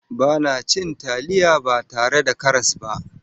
Ba na cin taliya ba tare da karas ba.